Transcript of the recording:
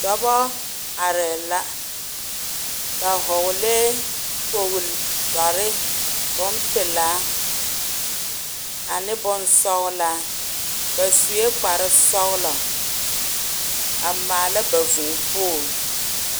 Dɔbɔ arɛɛ la ba hɔɔlɛɛ kpolitare bompelaa ane bonsɔglaa ba sue kpare sɔglɔ a maala ba vuu pooli.